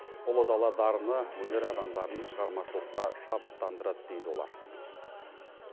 ұлы дала дарыны өнер адамдарын шығармашылыққа шабыттандырады дейді олар